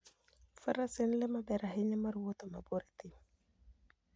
Faras en le maber ahinya mar wuoth mabor e thim.